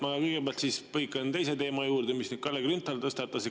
Jah, ma kõigepealt põikan teise teema juurde, mis Kalle Grünthal tõstatas.